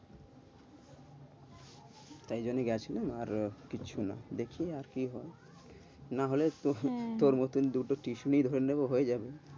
তাই জন্য গেছিলাম, আর কিছু না। দেখি আর কি হয় না হলে তোর মতো দুটো টিউশনি ধরে নেব হয়ে যাবে।